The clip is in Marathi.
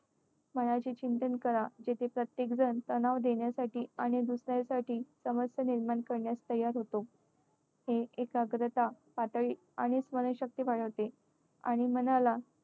मनाचे चिंतन करा. जेथे प्रत्येकजण तनाव देण्यासाठी आणि दुसऱ्यासाठी समस्या निर्माण करण्यास तयार होतो. हे एकाग्रता पातळी आणि स्मरणशक्ती वाढवते. आणि मनाला